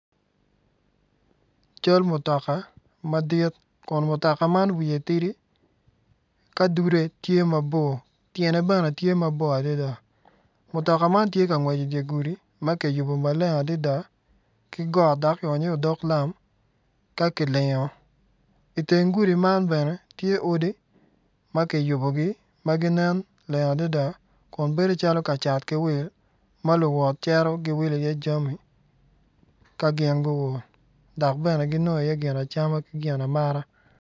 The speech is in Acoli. Cal mutaka madit Kun mutoka man wiye tidi ka dude tye mabor tyene bene tye mabor adada mutoka man tye ka ngwec idye gudi ma ki yubo maleng adida ki got dok ki onyo iye odok lam ka kilingo itenge gudi man bene tye odi ma kiyubuogi ma ginen leng adida kun bedo calo ka cat ki wil ka ma luwot giceto giwilo iye jami kangi guol dok bene giwili iye cam ki gin amata